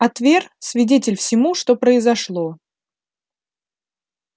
а твер свидетель всему что произошло